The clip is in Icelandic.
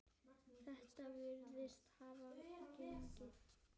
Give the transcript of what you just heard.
Þetta virðist hafa gengið eftir.